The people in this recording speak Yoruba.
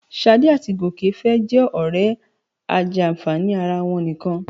Ṣadé àti Gòkè fẹ́ jẹ́ ọ̀rẹ́ ajàǹfààní ara wọn nìkan